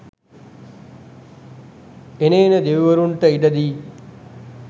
එන එන දෙවිවරුන්ට ඉඩ දී